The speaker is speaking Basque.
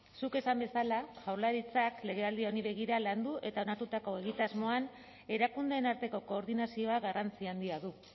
zuk esan bezala jaurlaritzak legealdi honi begira landu eta onartutako egitasmoan erakundeen arteko koordinazioa garrantzi handia du